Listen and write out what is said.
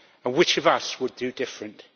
Which of us would do differently?